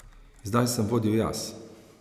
Zdaj sem vodil jaz.